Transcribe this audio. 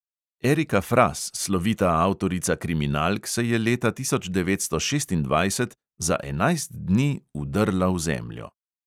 Erika fras, slovita avtorica kriminalk, se je leta tisoč devetsto šestindvajset za enajst dni vdrla v zemljo.